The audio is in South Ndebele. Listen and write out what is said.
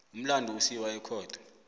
umlandu usiwa ekhotho